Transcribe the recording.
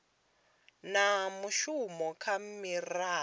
na mushumo kha miraḓo ya